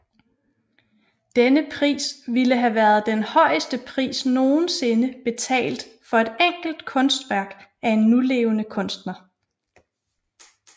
Denne pris ville have været den højeste pris nogensinde betalt for et enkelt kunstværk af en nulevende kunstner